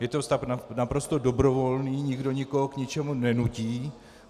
Je to stav naprosto dobrovolný, nikdo nikoho k ničemu nenutí.